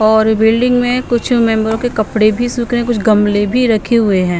और बिल्डिंग में कुछ मेंबरों के कपड़े भी सूख रहे कुछ गमले भी रखे हुए हैं।